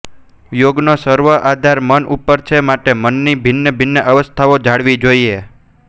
યોગનો સર્વ આધાર મન ઉપર છે માટે મનની ભિન્ન ભિન્ન અવસ્થાઓ જાણવી જોઈએ